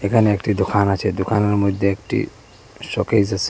এখানে একটি দোকান আছে দোকানের মধ্যে একটি শোকেস আসে।